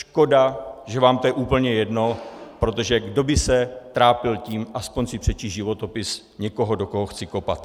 Škoda, že vám to je úplně jedno, protože kdo by se trápil tím aspoň si přečíst životopis někoho, do koho chci kopat.